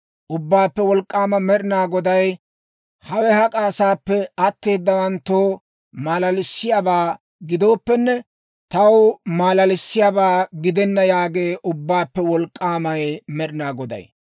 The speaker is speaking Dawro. Ubbaappe Wolk'k'aamay Med'inaa Goday, ‹Hawe hak'a asaappe atteedawanttoo maalalissiyaabaa gidooppenne, taw maalalissiyaabaa gidenna› yaagee Ubbaappe Wolk'k'aamay Med'inaa Goday.